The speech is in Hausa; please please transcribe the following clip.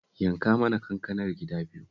Yanka mana kankanar gida biyu